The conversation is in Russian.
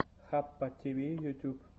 хаппативи ютуб